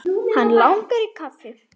Hann langar í kaffi.